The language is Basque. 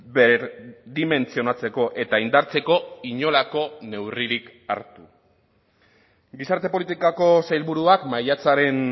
berdimentsionatzeko eta indartzeko inolako neurririk hartu gizarte politikako sailburuak maiatzaren